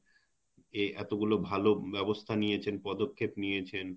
এ এত গুলো ভাল ব্যবস্থা নিয়েছেন পদক্ষেপ নিয়েছেন .